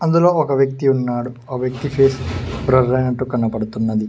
ఇందులో ఒక వ్యక్తి ఉన్నాడు ఆ వ్యక్తి పేస్ బ్లర్ ఐనట్టు కనబడుతున్నది.